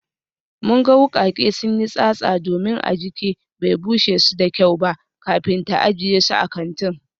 Mun ga wukake sun yi tsatsa domin Ajike bai bushe su da kyau ba kafin ta ajiye su a kantin